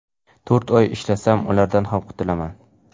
To‘rt oy ishlasam, ulardan ham qutulaman.